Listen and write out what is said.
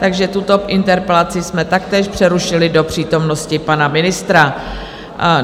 Takže tuto interpelaci jsme taktéž přerušili do přítomnosti pana ministra.